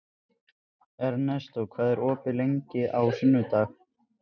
Ernestó, hvað er opið lengi á sunnudaginn?